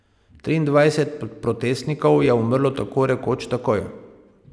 Triindvajset protestnikov je umrlo tako rekoč takoj.